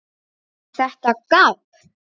ER ÞETTA GABB?